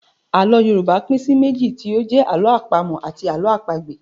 Àlọ́ Yorùbá pín sí méjì tí ó jẹ́ Àlọ́ àpamọ̀ àti Àlọ́ àpagbè